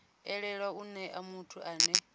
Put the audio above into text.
elelwe u nea muthu ane